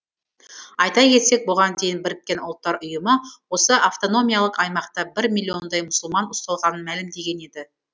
айта кетсек бұған дейін біріккен ұлттар ұйымы осы автономиялық аймақта бір миллиондай мұсылман ұсталғанын мәлімдеген еді